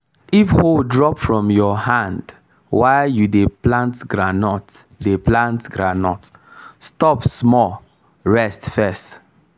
if hoe drop from your hand while you dey plant groundnut dey plant groundnut stop small rest first.